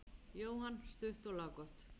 Jóhann: Stutt og laggott?